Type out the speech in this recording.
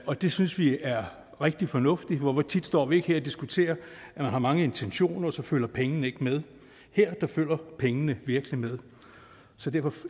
og det synes vi er rigtig fornuftigt for hvor tit står vi ikke her og diskuterer at man har mange intentioner men så følger pengene ikke med her følger pengene virkelig med så derfor